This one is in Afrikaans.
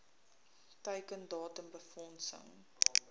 teiken datum befondsing